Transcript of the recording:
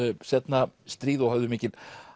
seinna stríð og höfðu mikil